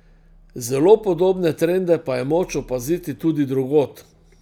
Zelo podobne trende pa je moč opaziti tudi drugod.